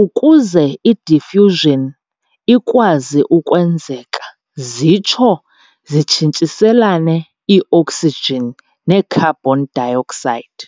ukuze i-diffusion ikwazi ukwenzeka zitsho zitshintshiselane ii-oksijini ne-carbon dioxide.